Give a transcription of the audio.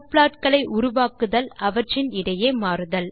subplot களை உருவாக்குதல் அவற்றின் இடையே மாறுதல்